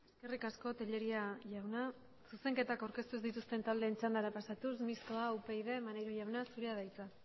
eskerrik asko tellería jauna zuzenketak aurkeztu ez dituzten taldeen txandara pasatuz mistoa upyd maneiro jauna zurea da hitza